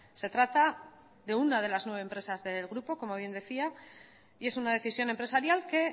se trata de una de las nueve empresas del grupo como bien decía y es una decisión empresarial que